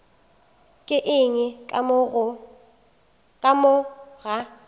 ke eng ka mo ga